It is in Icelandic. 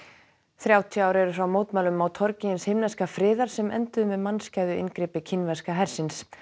þrjátíu ár eru frá mótmælum á torgi hins himneska friðar sem enduðu með mannskæðu inngripi kínverska hersins